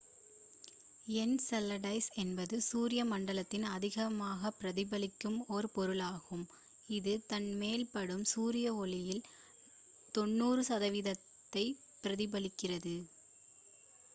Enceladus என்பது சூரிய மண்டலத்தில் அதிகமாகப் பிரதிபலிக்கும் ஒரு பொருளாகும் இது தன் மேல் படும் சூரிய ஒளியில் 90 சதவிகிதத்தைப் பிரதிபலிக்கிறது